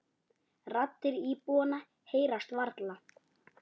Raddir íbúanna heyrast varla.